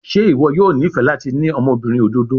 Ṣe iwọ yoo nifẹ lati ni ọmọbirin ododo?